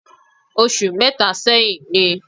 Oṣù mẹ́ta sẹ́yìn ni